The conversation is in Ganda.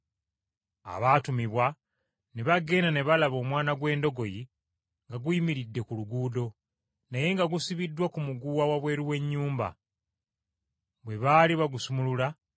Abaatumibwa ne bagenda, ne balaba omwana gw’endogoyi nga guyimiridde ku luguudo, naye nga gusibiddwa ku muguwa wabweru w’ennyumba. Bwe baali bagusumulula,